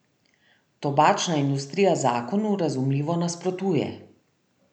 Tobačna industrija zakonu, razumljivo, nasprotuje.